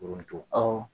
awɔ